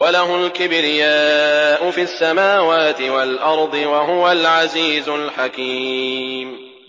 وَلَهُ الْكِبْرِيَاءُ فِي السَّمَاوَاتِ وَالْأَرْضِ ۖ وَهُوَ الْعَزِيزُ الْحَكِيمُ